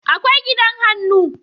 akwai gidan hannu